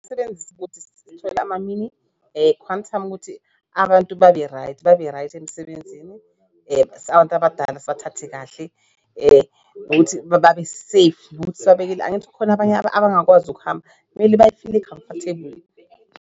Ama-mini Quantum ukuthi abantu babe-right, babe-right emsebenzini abantu abadala sibathathe kahle ukuthi babe safe ukuthi sibabekele angithi khona abanye abangakwazi ukuhamba kumele bayifile comfortable.